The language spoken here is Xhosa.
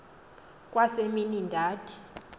kwa semini ndathi